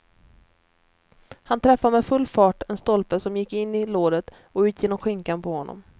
Han träffade med full fart en stolpe som gick in i låret och ut genom skinkan på honom.